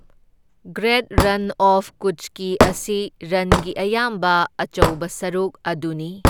Great run of ꯀꯨꯠꯆꯀꯤ ꯑꯁꯤ ꯔꯟꯒꯤ ꯑꯌꯥꯝꯕ ꯑꯆꯧꯕ ꯁꯔꯨꯛ ꯑꯗꯨꯅꯤ꯫